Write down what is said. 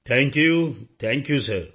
thank you thank you ਸਿਰ